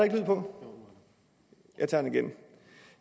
lyd på jeg tager det igen